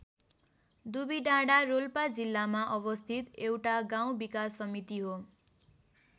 दुबिडाँडा रोल्पा जिल्लामा अवस्थित एउटा गाउँ विकास समिति हो।